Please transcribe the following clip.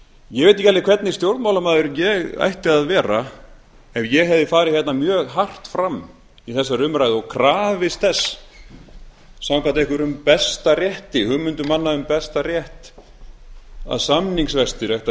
ég veit ekki alveg hvernig stjórnmálamaður ég ætti að vera ef ég hefði farið mjög hart fram í þessari umræðu og krafist þess samkvæmt einhverjum besta rétti hugmyndum manna um besta rétt að samningsvextir ættu